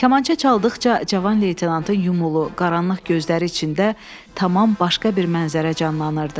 Kamança çaldıqca Cavan leytenantın yumulu, qaranlıq gözləri içində tamam başqa bir mənzərə canlanırdı.